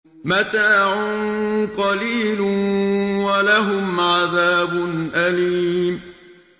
مَتَاعٌ قَلِيلٌ وَلَهُمْ عَذَابٌ أَلِيمٌ